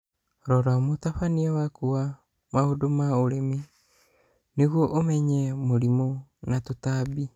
Rora mũtabania waku wa maũndũ ma ũrĩmi nĩguo ũmenye mũrimũ na tũtambi.